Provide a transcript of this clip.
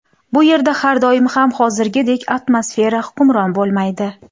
Bu yerda har doim ham hozirgidek atmosfera hukmron bo‘lmaydi.